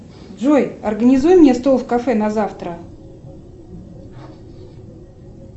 джой организуй мне стол в кафе на завтра